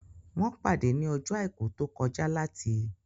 Wọ́n pàdé ní ọjọ́ àìkú tó kọjá láti